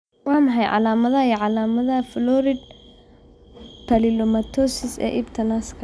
Waa maxay calaamadaha iyo calaamadaha Florid papillomatosis ee ibta naaska?